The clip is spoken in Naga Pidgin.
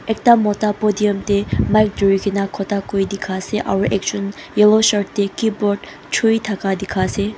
ekta moda podium dae mic turikina Kota kura dika asae aro ekjun yellow shirt dae keyboard chui taka dika asae.